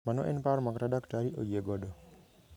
Mano en paro ma kata Dkt ayie godo.